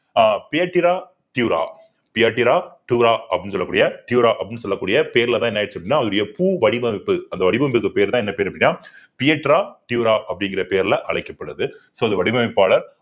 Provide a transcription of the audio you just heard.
ஆஹ் அப்படின்னு சொல்லக்கூடிய பேருலதான் என்ன ஆயிருச்சு அப்படின்னா அவருடைய பூ வடிவமைப்பு அந்த வடிவமைப்புக்கு பெயர்தான் என்ன பேரு அப்படின்னா அப்படிங்கிற பெயர்ல அழைக்கப்படுது so அது வடிவமைப்பாளர்